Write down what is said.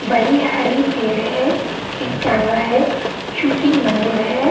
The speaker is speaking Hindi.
बड़ी हरी पेड़ है। एक कैमरा है। चुटी मंदिर है।